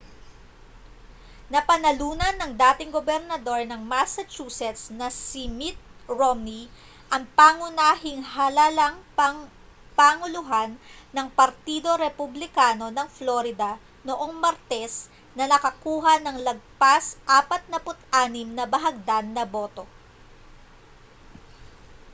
napanalunan ng dating gobernador ng massachusetts na si mitt romney ang pangunahing halalang pampanguluhan ng partido republikano ng florida noong martes na nakakuha nang lagpas 46 na bahagdan na boto